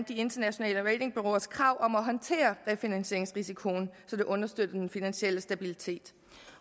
de internationale ratingbureauers krav om at håndtere refinansieringsrisikoen så det understøtter den finansielle stabilitet